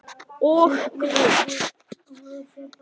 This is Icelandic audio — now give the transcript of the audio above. Og Guð.